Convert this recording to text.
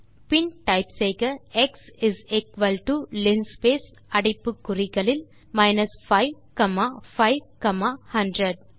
பின் type செய்க x is equal to linspace அடைப்புக்குறிகளில் 5 comma 5 comma 100